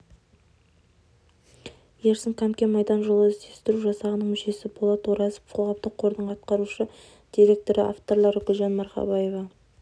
ерсін қамкен майдан жолы іздестіру жасағының мүшесі болат оразов қоғамдық қордың атқарушы директоры авторлары гүлжан марқабаева